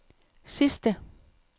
sidste